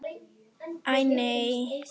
Æi, nei.